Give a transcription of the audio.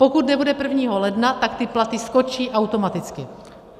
Pokud nebude 1. ledna, tak ty platy skočí automaticky.